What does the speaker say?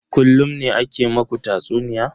Kullun ne ake ma ku tatsuniya?